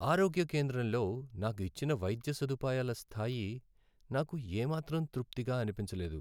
ఆరోగ్య కేంద్రంలో నాకు ఇచ్చిన వైద్య సదుపాయాల స్థాయి నాకు ఏమాత్రం తృప్తిగా అనిపించలేదు.